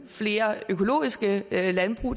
flere økologiske landbrug